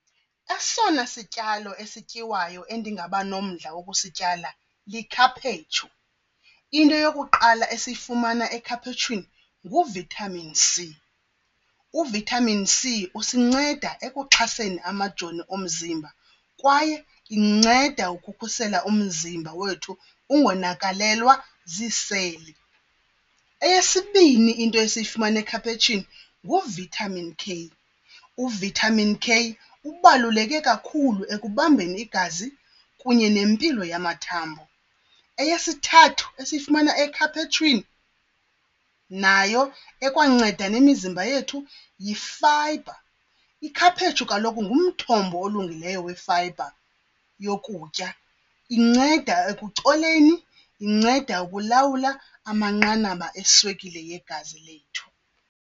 Esona sityalo esityiwayo endingaba nomdla wokusityala likhaphetshu. Into yokuqala esiyifumana ekhaphetshwini ngu-vitamin C. U-vitamin C usinceda ekuxhaseni amajoni omzimba kwaye inceda ukukhusela umzimba wethu ungonakalelwa ziiseli. Eyesibini into esiyifumana ekhaphetshu ngu-vitamin K. U-vitamin K ubaluleke kakhulu ekubambeni igazi kunye nempilo yamathambo. Eyesithathu esiyifumana ekhaphetshwini nayo ekwanceda nemizimba yethu yifayibha. Ikhaphetshu kaloku ngumthombo olungileyo wefayibha yokutya, inceda ekucoleni, inceda ukulawula amanqanaba eswekile yegazi lethu.